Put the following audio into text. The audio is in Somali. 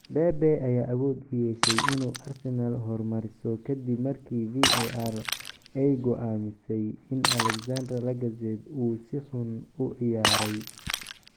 Pepe ayaa awood u yeeshay inuu Arsenal hormariso kadib markii VAR ay go'aamisay in Alexandre Lacazette uu si xun u ciyaaray.